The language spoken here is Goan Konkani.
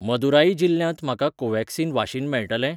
मदुराई जिल्ल्यांत म्हाका कोव्हॅक्सिन वाशीन मेळटलें?